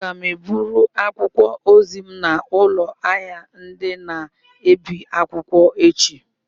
Aga m eburu akwụkwọ ozi m n'ụlọ ahịa ndị na-ebi akwụkwọ echi.